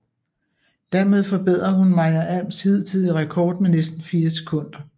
Dermed forbedrede hun Maja Alms hidtidige rekord med næsten fire sekunder